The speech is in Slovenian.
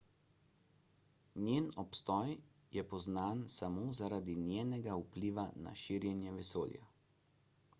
njen obstoj je poznan samo zaradi njenega vpliva na širjenje vesolja